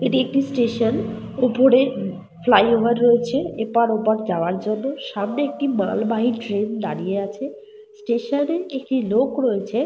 এটি একটি স্টেশন । ওপরে ফ্লাই ওভার রয়েছে এপার ওপার যাওয়ার জন্য। সামনে একটি মালবাহী ট্রেন দাঁড়িয়ে আছে। স্টেশন এ একটি লোক রয়েছে।